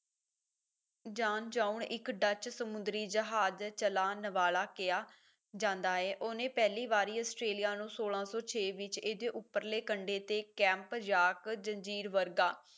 Janszoon ਇੱਕ Dutch ਸਮੁੰਦਰੀ ਜਹਾਜ਼ ਦੇ ਚਲਾਣ ਵਾਲਾ ਕਿਹਾ ਜਾਂਦਾ ਹੈ ਉਹਨੇ ਪਹਿਲੀ ਵਾਰੀ ਆਸਟ੍ਰੇਲੀਆ ਨੂੰ ਸੋਲਾਂ ਸੌ ਛੇ ਵਿੱਚ ਇਸਦੇ ਉਪਰਲੇ ਕੰਢੇ ਤੇ ਕੈਂਪ ਜਾਕ ਜ਼ੰਜੀਰ ਵਰਗਾ